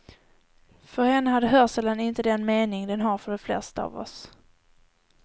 För henne hade hörseln inte den mening den har för de flesta av oss.